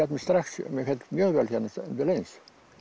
mig strax mér féll mjög vel hérna undir eins